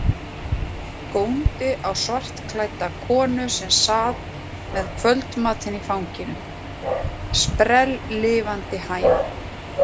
Góndi á svartklædda konu sem sat með kvöldmatinn í fanginu, sprelllifandi hænu.